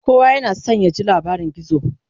kowa yana San ya ji labarin gizo